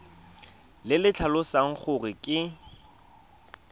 le le tlhalosang gore ke